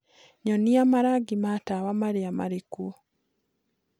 nyonĩa marangi ma tawa maria marikuo